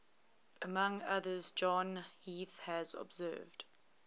among others john heath has observed